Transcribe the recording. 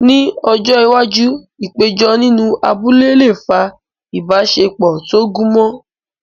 Ní ọjọ́ iwájú, ìpéjọ nínú abúlé lè fa ìbáṣepọ̀ tó gúnmọ́.